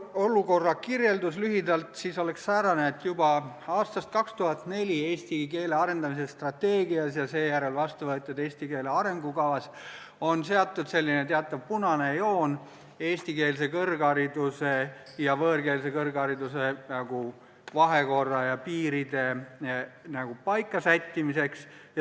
Olukorra kirjeldus on lühidalt säärane, et juba aastast 2004 pärit "Eesti keele arendamise strateegias" ja seejärel vastu võetud "Eesti keele arengukavas" on tõmmatud teatav punane joon eestikeelse kõrghariduse ja võõrkeelse kõrghariduse vahekorra ja piiride paika sättimiseks.